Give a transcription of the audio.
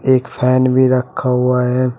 एक फैन भी रखा हुआ है।